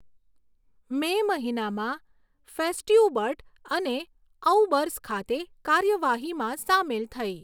મે મહિનામાં ફેસ્ટ્યુબર્ટ અને ઔબર્સ ખાતે કાર્યવાહીમાં સામેલ થઈ.